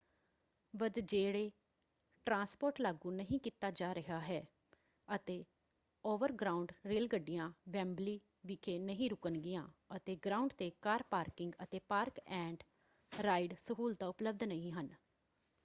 ਵ੍ਦ੍ਜੇਰੇ transport ਲਾਗੂ ਨਹੀਂ ਕੀਤਾ ਜਾ ਰਿਹਾ ਹੈ ਅਤੇ ਓਵਰਗ੍ਰਾਊਂਡ ਰੇਲ ਗੱਡੀਆਂ ਵੈਂਬਲੀ ਵਿਖੇ ਨਹੀਂ ਰੁਕਣਗੀਆਂ ਅਤੇ ਗਰਾਊਂਡ ‘ਤੇ ਕਾਰ ਪਾਰਕਿੰਗ ਅਤੇ ਪਾਰਕ-ਐਂਡ-ਰਾਈਡ ਸਹੂਲਤਾਂ ਉਪਲਬਧ ਨਹੀਂ ਹਨ।